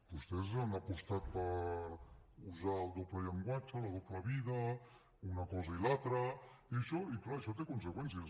vostès han apostat per usar el doble llenguatge la doble vida una cosa i l’altra i clar això té conseqüències